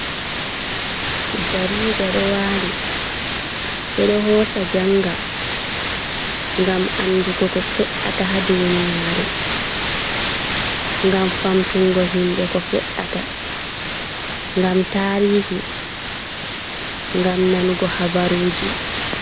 Jariida ɗo waali. Ɓe ɗo hoosa janga, ngam andugo ko fe'ata ha duniyaru, ngam famtungo himɓe ko fe’ata, ngam tarihi, ngam nanugo habaruji.